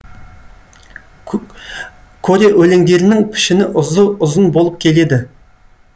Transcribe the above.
коре өлеңдерінің пішіні ұзын болып келеді